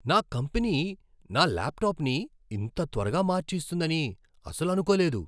నా కంపెనీ నా ల్యాప్టాప్ని ఇంత త్వరగా మార్చి ఇస్తుందని అసలు అనుకోలేదు!